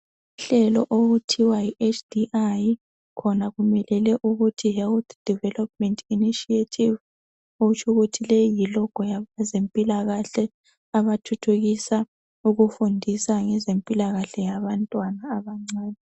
Uhlelo okuthiwa yiHDI khona kumelele ukuthi Health Development Initiative. Okutsho ukuthi leyi yilogo yabezimpilakahle abathuthukisa ukufundisa ngezempilakahle yabantwana abancane.